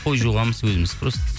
қой жуғамыз өзіміз просто